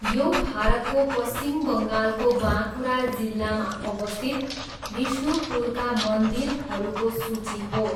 यो भारतको पश्चिम बङ्गालको बाँकुरा जिल्लामा अवस्थित विष्णुपुरका मन्दिरहरूको सूची हो।